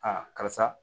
karisa